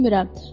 Bilmərəm.